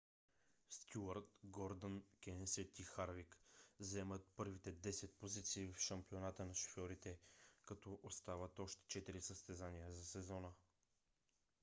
стюарт гордън кенсет и харвик заемат първите десет позиции в шампионата на шофьорите като остават още четири състезания за сезона